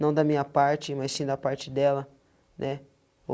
Não da minha parte, mas sim da parte dela, né?